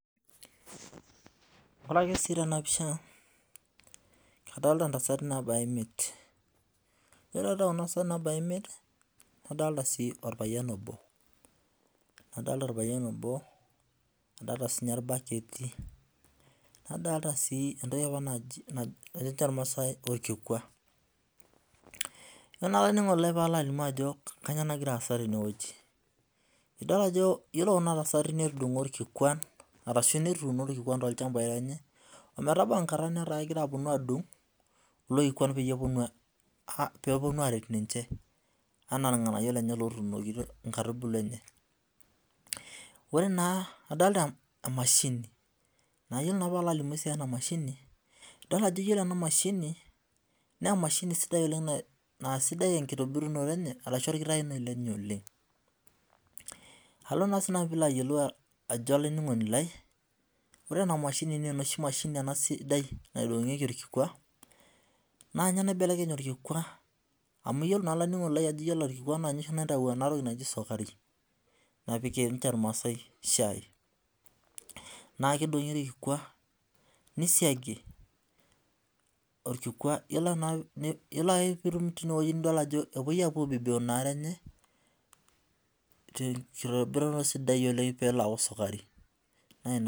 Ore ake si tenapisha kadolta ntasati nabaya imiet ore adolta kuna tasati nabaya imiet naodolta si orpayian obo adolta sininye irbaketi nadolta si entoki natejo irnaasai orkikua yiolo na olaininingoni lai palo ajo kanyio nagira aasa tenewueji idol ajo iyiolo kuna tasati netuuno irkikuan ashu netudungo irkikuan tolchambai lenye ometabau enkata enkatabnataa keponu adung kulo kikuan peponu aret ninche anaa irnganayio lenye otuunokitio nkaitubulu enye ore na adolta emashini nayieu nalobalimu enamashini ore enamashini na emashini sidai oleng na sidai enkitobirunye enye oleng alo na sinanu alo ayiolou olaininingoni lai ajo ore enamashini na emashini sidai naidongieki orkikua na ninye naidong orkikua amu iyiolo naa olaininingoni lai ajo ninye naitau enatoki naji sukari napikie irmaasai shai nakidongi orkikua nisiagi nidol ajo epuo aibibiu inaare enye tenkitobirato sidai oleng pelo aaku sukari na ina.